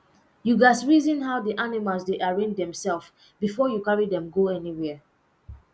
you gats reason how the animals dey arrange demself before you carry dem go anywhere